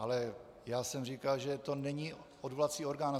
Ale já jsem říkal, že to není odvolací orgán.